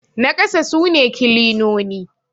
na kasa sune kilinoni